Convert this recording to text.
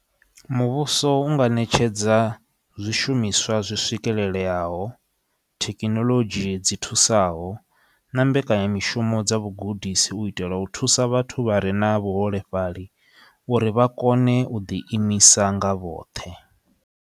Muvhuso u nga netshedza zwishumiswa zwi swikeleleaho, thekinoḽodzhi dzi thusaho na mbekanyamishumo dza vhugudisi u itela u thusa vhathu vha re na vhuholefhali uri vha kone u ḓi imisa nga vhoṱhe.